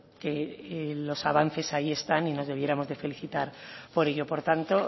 que los avances ahí están y nos debiéramos felicitar por ello por tanto